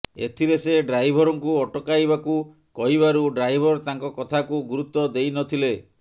ଏଥିରେ ସେ ଡ୍ରାଇଭରଙ୍କୁ ଅଟକାଇବାକୁ କହିବାରୁ ଡ୍ରାଇଭର ତାଙ୍କ କଥାକୁ ଗୁରୁତ୍ୱ ଦେଇ ନ ଥିଲେ